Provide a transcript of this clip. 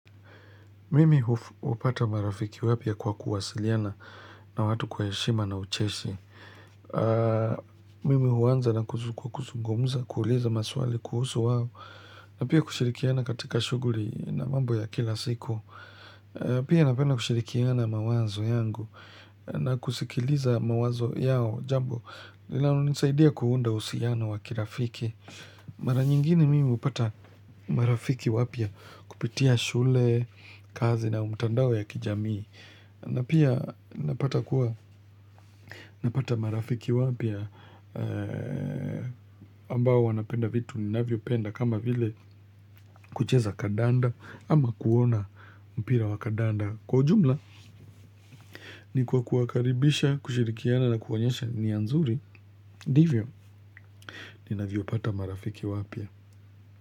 Mimi hupata marafiki wapya kwa kuwasiliana na watu kwa heshima na ucheshi. Mimi huanza na kuzungumza, kuuliza maswali, kuhusu wao, na pia kushirikiana katika shughuli na mambo ya kila siku. Pia napenda kushirikiana mawazo yangu na kusikiliza mawazo yao jambo, linalonisaidia kuunda uhusiano wakirafiki. Mara nyingine mimi hupata marafiki wapya kupitia shule, kazi na mtandao ya kijamii na pia napata kuwa napata marafiki wapya ambao wanapenda vitu ninavyo penda kama vile kucheza kadanda ama kuona mpira wa kadanda Kwa ujumla ni kwa kuwakaribisha, kushirikiana na kuwaonyesha nia nzuri ndivyo, ninavyo pata marafiki wapia.